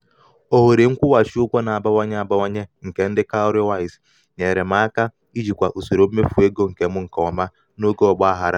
ohere nkwụghachi ụgwọ na-agbanwe agbanwe nke ndị cowrywise nyere m aka ijikwa usoro mmefu ego m nke ọma n'oge ọma n'oge ọgbaghara.